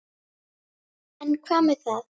En hvað með það?